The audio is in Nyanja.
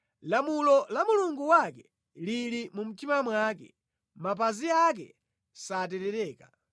Lamulo la Mulungu wake lili mu mtima mwake; mapazi ake saterereka.